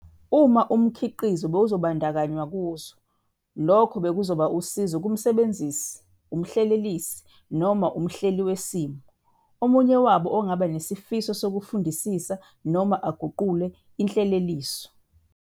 Uma umkitizo bewuzobandakanywa kuzo, lokho bekuzoba usizo kumsebenzisi, umhlelelisi noma umhleli wesimiso, omunye wabo ongaba nesifiso sokufundisisa noma aguqule inhleleliso.